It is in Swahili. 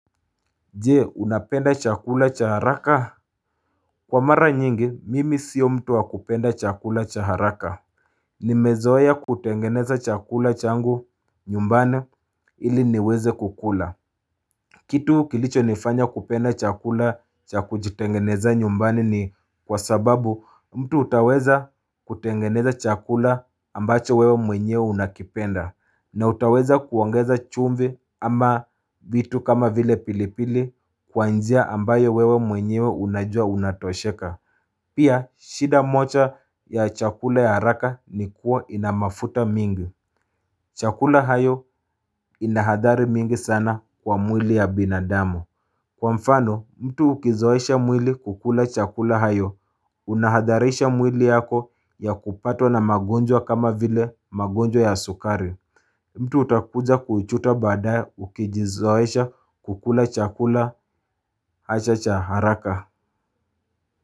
Je unapenda chakula cha haraka kwa mara nyingi mimi sio mtu wa kupenda chakula cha haraka nimezoea kutengeneza chakula changu nyumbani ili niweze kukula Kitu kilicho nifanya kupenda chakula cha kujitengenezea nyumbani ni kwa sababu mtu utaweza kutengeneza chakula ambacho wewe mwenyewe unakipenda na utaweza kuongeza chumvi ama vitu kama vile pilipili kwa njia ambayo wewe mwenyewe unajua unatosheka Pia shida moja ya chakula ya haraka ni kuwa ina mafuta mingi Chakula hayo ina hadhari mingi sana kwa mwili ya binadamu Kwa mfano mtu ukizoesha mwili kukula chakula hayo unahadharisha mwili yako ya kupatwa na magonjwa kama vile magonjwa ya sukari mtu utakuja kujuta badaye ukijizoesha kukula chakula hacha cha haraka.